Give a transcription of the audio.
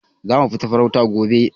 Za mu tafi farauta gobe.